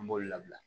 An b'olu labila